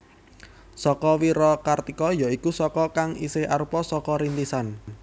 Saka Wirakartika ya iku Saka kang isih arupa Saka Rintisan